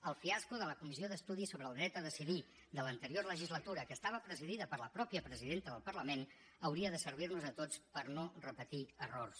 el fiasco de la comissió d’estudi sobre el dret a decidir de l’anterior legislatura que estava presidida per la mateixa presidenta del parlament hauria de servir nos a tots per no repetir errors